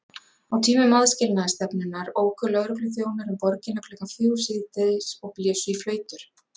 Á tímum aðskilnaðarstefnunnar óku lögregluþjónar um borgina klukkan fjögur síðdegis og blésu í flautur.